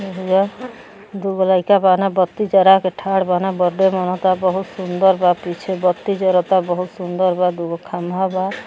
दूगो लइका बान बत्ती जरा के ठाढ बाने। बड्ड़े मनता। बहुत सुदंर बा। पीछे बत्ती जरता। बहुत सुंदर बा। दूगो खंभा बा।